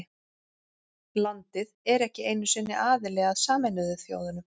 Landið er ekki einu sinni aðili að Sameinuðu þjóðunum.